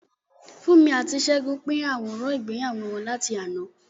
Funmi àti Segun pín àwòrán ìgbéyàwó wọn láti àná.